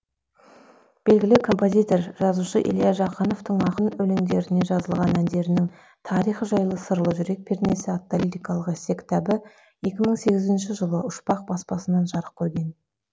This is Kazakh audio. белгілі композитор жазушы илья жақановтың ақын өлеңдеріне жазылған әндерінің тарихы жайлы сырлы жүрек пернесі атты лирикалық эссе кітабы екі мың сегізінші жылы ұшпақ баспанасынан жарық көрген